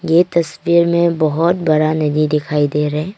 ये तस्वीर में बहोत बड़ा नदी दिखाई दे रा है।